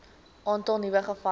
aantal nuwe gevalle